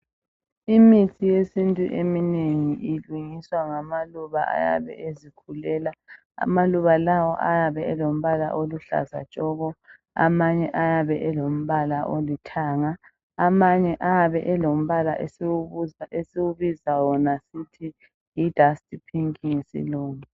Imithi yesintu emeningi ilungiswa ngamaluba ayabe ezikhulela amaluba lawa ayabe elombala oluhlaza tshoko amanye ayabe elombala olithanga amanye ayabe elombala esiwubiza sithi yi dust pink ngesilungu.